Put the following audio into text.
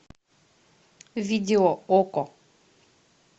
видео окко